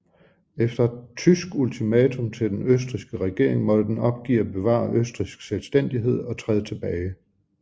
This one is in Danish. Efter et tysk ultimatum til den østrigske regering måtte den opgive at bevare østrigsk selvstændighed og træde tilbage